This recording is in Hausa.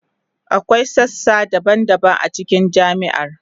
Akwai sassa daban-daban a cikin jami'ar.